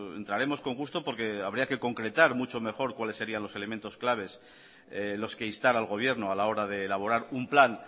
entraremos con gusto porque habría que concretar mucho mejor cuáles serían los elementos claves los que instar al gobierno a la hora de elaborar un plan